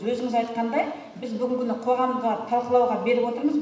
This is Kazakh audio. өзіңіз айтқандай біз бүгінгі күні қоғамға талқылауға беріп отырмыз